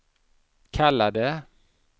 kallade